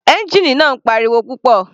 Ẹ́ngìnì náà ń pa ariwo púpọ̀.